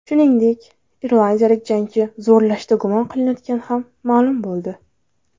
Shuningdek, irlandiyalik jangchi zo‘rlashda gumon qilinayotgani ham ma’lum bo‘ldi .